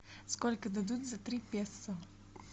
сколько дадут за три песо